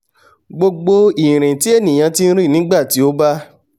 gbogbo ìrìn tí ènìà ti rìn nígbà tí ó bá